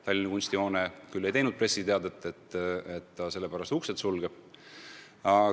Tallinna Kunstihoone küll ei teinud pressiteadet, et ta selle pärast uksed sulgeb.